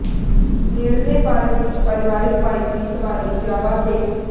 ਨੇੜਲੇ ਪਾਰਕ ਵਿਚ ਪਰਿਵਾਰਕ ਬਾਈਕ ਦੀ ਸਵਾਰੀ ਜਾਂ ਵਾਧੇ